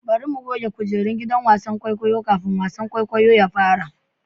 Bari mu goge kujerun gidan wasan kwaikwayo kafin wasan kwaikwayo ya fara.